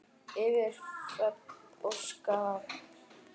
Yfir hrönn og skafl!